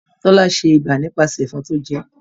Tola ṣe iba nipasẹ ẹ̀fọn tó jẹẹ́